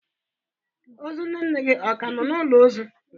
Ozu nne nne gị ọ ka nọ n'ụlọ ozu?